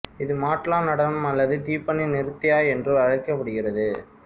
இது மாட்லா நடனம் அல்லது திப்பனி நிருத்யா என்றும் அழைக்கப்படுகிறது